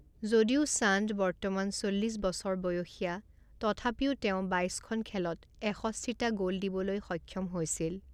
যদিও চান্দ বৰ্তমান চল্লিশ বছৰ বয়সীয়া, তথাপিও তেওঁ বাইছখন খেলত এষষ্ঠিটা গ'ল দিবলৈ সক্ষম হৈছিল।